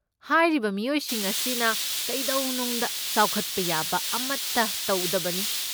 ꯍꯥꯏꯔꯤꯕ ꯃꯤꯑꯣꯏꯁꯤꯡ ꯑꯁꯤꯅ ꯀꯩꯗꯧꯅꯨꯡꯗ ꯆꯥꯎꯈꯠꯄ ꯌꯥꯕ ꯑꯃꯠꯇ ꯇꯧꯗꯕꯅꯤ꯫